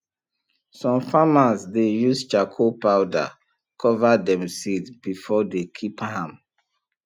some farmers dey use charcoal powder cover dem seed before dey keep ahm